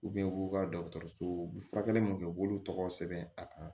u b'u ka dɔgɔtɔrɔsow u bɛ furakɛli mun kɛ u b'olu tɔgɔ sɛbɛn a kan